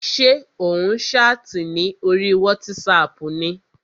Ṣé ò ń ṣáàtì ní orí wátísapù ni?